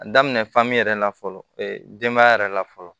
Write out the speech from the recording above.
A daminɛ fan min yɛrɛ la fɔlɔ denba yɛrɛ la fɔlɔ